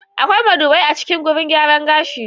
Akwai madubai a cikin gurin gyaran gashi.